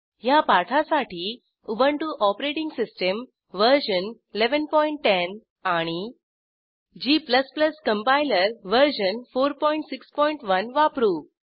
ह्या पाठासाठी Ubuntu OS version 1110 आणि g कंपाइलर वर्जन 461 वापरू